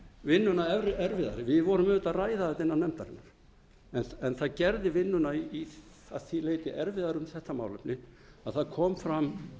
vinnuna erfiðari við vorum auðvitað að ræða þetta inni á nefndarfundi en það gerði vinnuna að því leyti erfiðari um þetta málefni að það kom fram